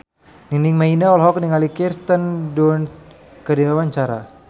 Nining Meida olohok ningali Kirsten Dunst keur diwawancara